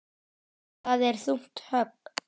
Það er þungt högg.